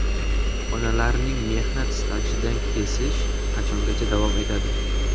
Onalarning mehnat stajidan kesish qachongacha davom etadi?